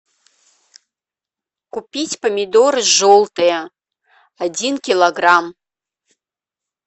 купить помидоры желтые один килограмм